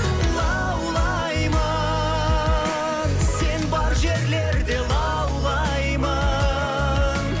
лаулаймын сен бар жерлерде лаулаймын